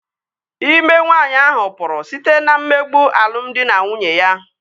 İme nwaanyi ahụ pụrụ site na mmegbu alụmdi na nwunye ya